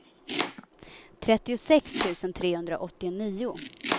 trettiosex tusen trehundraåttionio